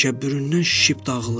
Təkəbbüründən şişib dağılır.